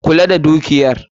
Kula da dukiyar